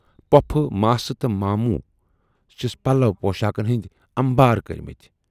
پۅپھٕ، ماسہٕ تہٕ مامٔو چھِس پلو پۅشاکن ہٕندۍ امبار کٔرۍمٕتۍ۔